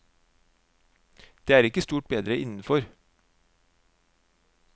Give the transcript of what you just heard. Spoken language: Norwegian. Det er ikke stort bedre innenfor.